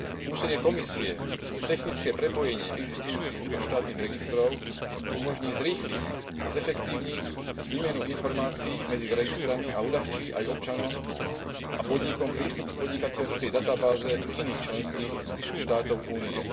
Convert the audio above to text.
Úsilie Komisie o technické prepojenie existujúcich vnútroštátnych registrov umožní zrýchliť a zefektívniť výmenu informácií medzi registrami a uľahčí aj občanom a podnikom prístup k podnikateľskej databáze iných členských štátov Únie.